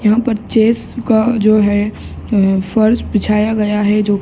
यहाँ पर चेस का जो है एं फर्श बिछाया गया है जो --